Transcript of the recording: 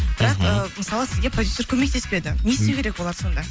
бірақ ы мысалы сізге продюсер көмектеспеді не істеу керек олар сонда